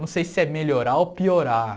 Não sei se é melhorar ou piorar.